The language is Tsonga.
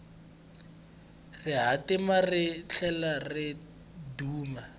rihatima ri tlhela ri duma